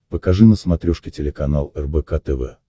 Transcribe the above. покажи на смотрешке телеканал рбк тв